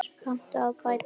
Kanntu að bæta, Magnús?